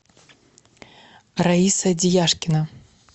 раиса дияшкина